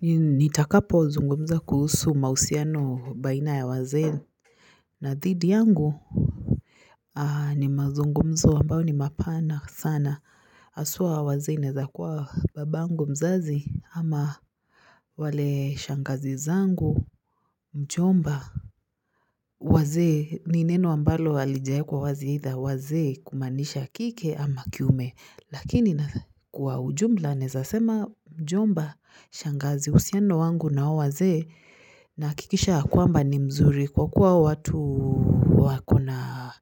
Nitakapozungumza kuhusu mahusiano baina ya wazee na dhidi yangu ni mazungumzo ambayo ni mapana sana. Hasa, wazee inaweza kuwa babangu mzazi ama wale shangazi zangu, mjomba wazee ni neno ambalo halijawekwa wazi aidha wazee kumaanisha kike ama kiume lakini kwa ujumla naweza sema mjomba shangazi uhusiano wangu na hao wazee nahakikisha ya kwamba ni mzuri kwa kuwa watu wako na